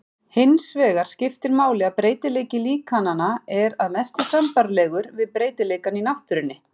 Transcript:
Hinsvegar skiptir máli að breytileiki líkananna er að mestu sambærilegur við breytileikann í náttúrunni.